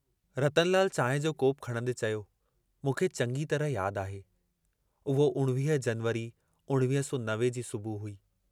रतनलाल चांहि जो कोपु खणंदे चयो, मूंखे चङी तरह याद आहे, उहो 19 जनवरी 1990 जी सुबुह हुई।